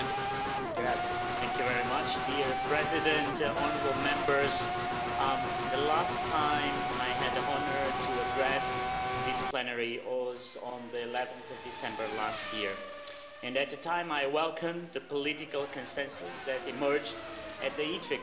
Mr President, honourable Members, the last time I had the honour to address this plenary was on 11 December last year, and at the time I welcomed the political consensus that emerged at the ITRE Committee thank you, President Buzek